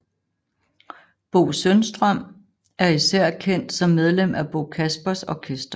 Bo Sundström er især kendt som medlem af Bo Kaspers Orkester